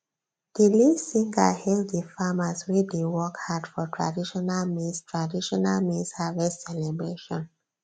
the lead singer hail the farmers wey dey work hard for traditional maize traditional maize harvest celebration